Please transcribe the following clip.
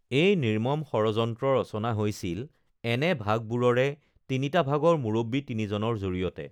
এই নিৰ্মম ষড়যন্ত্ৰ ৰচনা হৈছিল এনে ভাগবোৰৰে তিনিটা ভাগৰ মুৰব্বী তিনিজনৰ জৰিয়তে